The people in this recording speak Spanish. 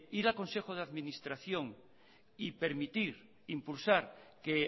ir al consejo de administración y permitir impulsar que